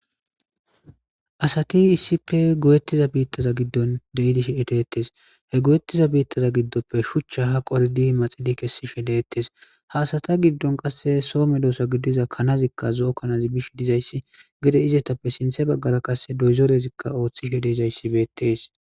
Asati issippe goyettiza biittaza giddon de7idish edeettes he go7ettiza biittaza giddoppe shuchcha ha qoldi maxidi kessishe deettes hasata giddon qasse soome doosa giddiza kanazikka zo7o kanazi bish dizayssi gede izetappe sinthe baggala qasse doyzorezikka ooththishe de izayssi beettees